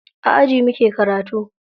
A aji muke karatu.